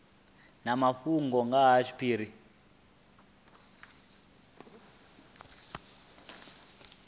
na mafhungo nga ha tshiphiri